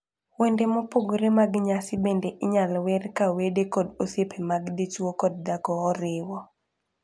Wende mopogore mag nyasi bende inyal wer ka wede kod osiepe mag dichwo kod dhako oriwo.